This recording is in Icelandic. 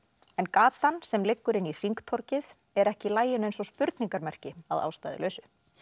en gatan sem liggur inn í hringtorgið er ekki í laginu eins og spurningamerki að ástæðulausu